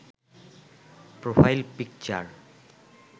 profile picture